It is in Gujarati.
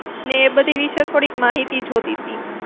ને એ બધી વિષે થોડીક માહિતી જોતીતી.